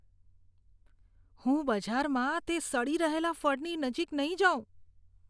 હું બજારમાં તે સડી રહેલા ફળની નજીક નહીં જાઉં.